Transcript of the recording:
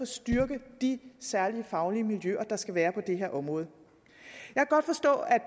styrke de særlige faglige miljøer der skal være på det her område